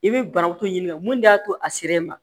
I bɛ banaku ɲininka mun de y'a to a sera e ma